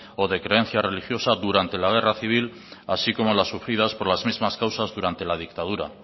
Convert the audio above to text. o de creencia religiosa durante la guerra civil así como las sufridas por las mismas causas durante la dictadura